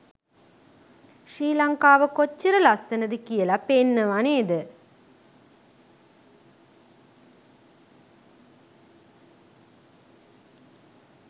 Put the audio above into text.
ශ්‍රී ලංකාව කොච්චර ලස්සනද කියල පේනවා නේද?